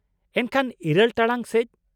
-ᱮᱱᱠᱷᱟᱱ , ᱤᱨᱟᱹᱞ ᱴᱟᱲᱟᱝ ᱥᱮᱡ ?